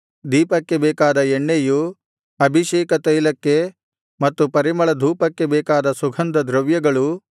ದೀಪಕ್ಕೆ ಬೇಕಾದ ಎಣ್ಣೆಯೂ ಅಭಿಷೇಕ ತೈಲಕ್ಕೆ ಮತ್ತು ಪರಿಮಳಧೂಪಕ್ಕೆ ಬೇಕಾದ ಸುಗಂಧದ್ರವ್ಯಗಳೂ